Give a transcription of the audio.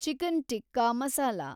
chicken tikka masala